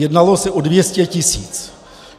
Jednalo se o 200 tisíc.